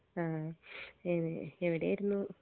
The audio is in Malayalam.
ആ എവ് എവിടായിരുന്നു